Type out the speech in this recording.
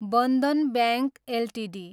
Bandhan bank Ltd